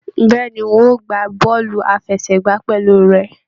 Bẹ̀ẹ́ni, n o gbá bọọlu àfẹ́sẹ̀gbà pẹlú rẹ.